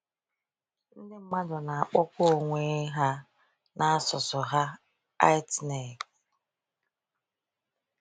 Ndị mmadụ na-akpọkwa onwe ha na asụsụ ha Itneg.